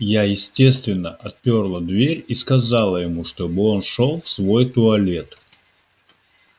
я естественно отпёрла дверь и сказала ему чтобы он шёл в свой туалет